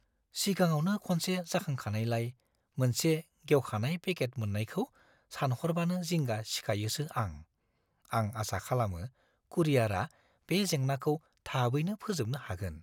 सिगाङावनो खनसे जाखांखानायलाय मोनसे गेवखानाय पेकेट मोन्नायखौ सानहरबानो जिंगा सिखायोसो आं; आं आसा खालामो कुरियारा बे जेंनाखौ थाबैनो फोजोबनो हागोन।